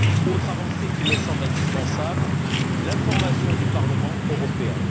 Autre avancée qui me semble indispensable l'information du Parlement européen.